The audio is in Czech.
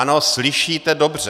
Ano, slyšíte dobře.